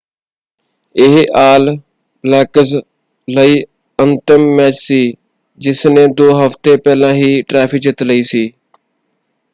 ਇਹ All Blacks ਲਈ ਅੰਤਮ ਮੈਚ ਸੀ ਜਿਸ ਨੇ ਦੋ ਹਫ਼ਤੇ ਪਹਿਲਾਂ ਹੀ ਟਰਾਫ਼ੀ ਜਿੱਤ ਲਈ ਸੀ।